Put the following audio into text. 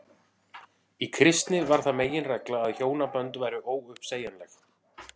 í kristni varð það meginregla að hjónabönd væru óuppsegjanleg